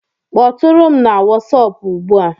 Kpọtụrụ m na Wọsọpu ugbu a!